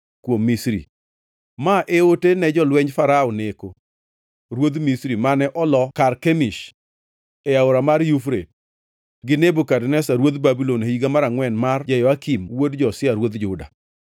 Kuom Misri: Ma e ote ne jolwenj Farao Neko ruodh Misri, mane oloo Karkemish e Aora mar Yufrate gi Nebukadneza ruodh Babulon e higa mar angʼwen mar Jehoyakim wuod Josia ruodh Juda: